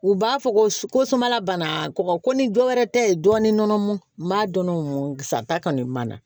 U b'a fɔ ko samala banna kɔgɔ ko ni dɔ wɛrɛ tɛ yen dɔɔnin n b'a dɔn n sa ta kɔni mana